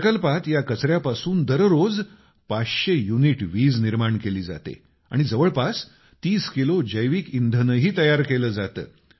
प्रकल्पात या कचऱ्यापासून दररोज 500 युनिट वीज निर्माण केली जाते आणि जवळपास 30 किलो जैविक इंधनही तयार केलं जातं